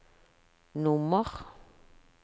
nummer